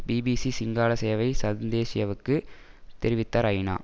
BBC Sinhala சேவை சந்தேஷ்யவுக்குத் தெரிவித்தார் ஐநா